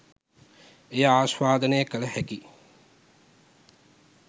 එය ආශ්වාදනය කළ හැකි